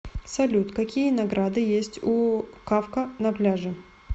салют какие награды есть у кафка на пляже